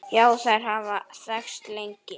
Já, þær hafa þekkst lengi.